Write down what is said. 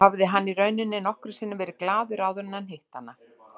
Hafði hann í rauninni nokkru sinni verið glaður áður en hann hitti hana?